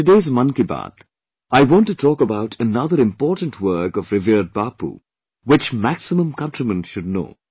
In today's Mann Ki Baat, I want to talk about another important work of revered Bapu which maximum countrymen should know